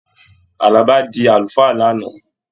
Àlàbá di àlùfáà l'ana.